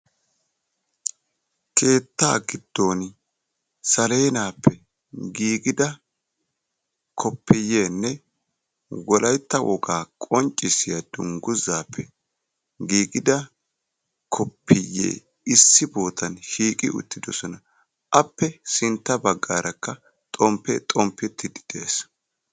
keetta giddon salennappe giigida kopiyenne wolaytta wogaa qonccissiya dungguzappe giigida koppiyye issi bootan shiiqi uttidoosna, appe sintta baggaarakka xomppe xonppetiidi dee'es.